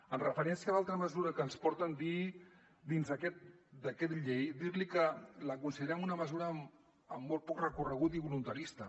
en referència a l’altra mesura que ens porten dins aquest decret llei dir li que la considerem una mesura amb molt poc recorregut i voluntarista